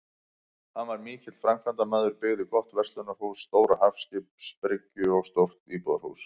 Hann var mikill framkvæmdamaður, byggði gott verslunarhús, stóra hafskipabryggju og stórt íbúðarhús.